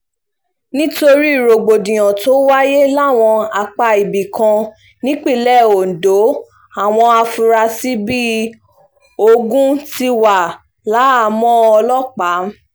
nítorí rògbòdìyàn tó wáyé láwọn apá ibì kan nípìnlẹ̀ ondo àwọn afurasí bíi ogun ti wà láhàámọ̀ ọlọ́pàá